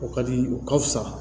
O ka di u ka fisa